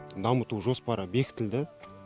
дамыту жоспары бекітілді